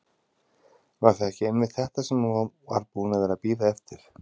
Var það ekki einmitt þetta sem hún var búin að vera að bíða eftir?